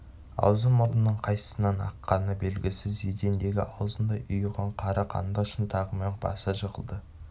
аузы-мұрынының қайсысынан аққаны белгісіз едендегі аузындай ұйыған қара қанды шынтағымен баса жығылды